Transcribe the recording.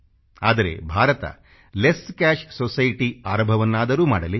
ಆದರೆ Bharat less cash society ಆರಂಭವನ್ನಾದರೂ ಮಾಡಲಿ